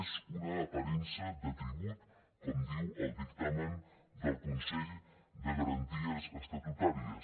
és una aparença de tribut com diu el dictamen del consell de garanties estatutàries